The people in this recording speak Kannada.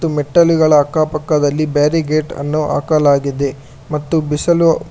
ಮತ್ತು ಮೆಟ್ಟಿಲುಗಳ ಅಕ್ಕಪಕ್ಕದಲ್ಲಿ ಬ್ಯಾರಿಕೇಡ್ ಗಳನ್ನು ಹಾಕಲಾಗಿದೆ ಮತ್ತು ಬಿಸಲು--